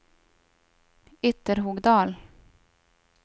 Ytterhogdal